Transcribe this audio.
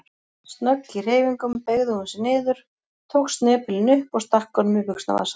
Snögg í hreyfingum beygði hún sig niður, tók snepilinn upp og stakk honum í buxnavasann.